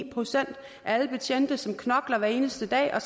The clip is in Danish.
procent af alle betjente som knokler hver eneste dag og